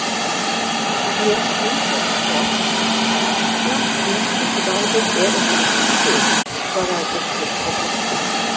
Mér skildist loks að norska ríkisráðið er ekki lengur til, svaraði biskup og glotti.